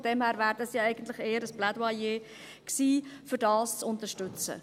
Von daher wäre es eher ein Plädoyer gewesen, um dies zu unterstützen.